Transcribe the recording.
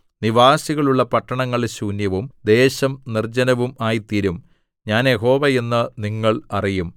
നിവാസികളുള്ള പട്ടണങ്ങൾ ശൂന്യവും ദേശം നിർജ്ജനവും ആയിത്തീരും ഞാൻ യഹോവ എന്ന് നിങ്ങൾ അറിയും